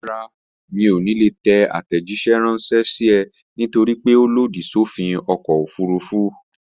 Rárá, mi ò ní lè tẹ àtẹ̀jíṣẹ́ ránṣẹ́ sí ẹ nítorípé ó lòdì sófin ọkọ̀ òfurufú